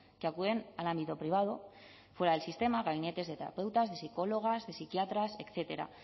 que acuden al ámbito privado fuera del sistema a gabinetes de terapeutas psicólogas psiquiatras etcétera